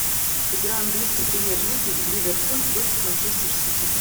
игра английской премьер лиги ливерпуль против манчестер сити